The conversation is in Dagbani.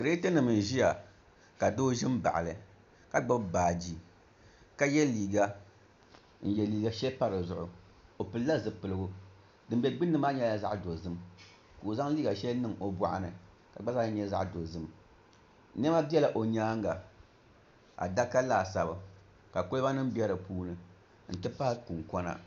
Kirɛt nim n ʒiya ka doo ʒi n baɣali ka gbubi baaji ka yɛ liiga n yɛ liiga shɛli pa dizuɣu o pilila zipiligu din bɛ gbunni maa nyɛla zaɣ dozim ka o zaŋ liiga shɛli niŋ o boɣu ni ka di gba zaa nyɛ zaɣ dozim niɛma biɛla o nyaanga adaka laasabu ka kolba nim bɛ di puuni n ti pahi kunkona